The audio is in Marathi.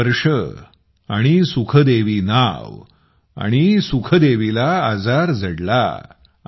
40 वर्ष आणि सुखदेव नावआणि सुखदेवीला आजार जडला